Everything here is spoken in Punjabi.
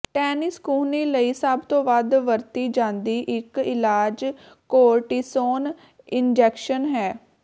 ਟੈਨਿਸ ਕੂਹਣੀ ਲਈ ਸਭ ਤੋਂ ਵੱਧ ਵਰਤੀ ਜਾਂਦੀ ਇੱਕ ਇਲਾਜ ਕੌਰਟਿਸੋਨ ਇੰਜੈਕਸ਼ਨ ਹੈ